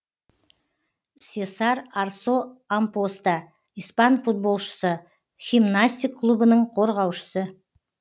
сесар арсо ампоста испан футболшысы химнастик клубының қорғаушысы